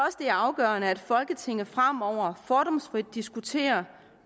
er afgørende at folketinget fremover fordomsfrit diskuterer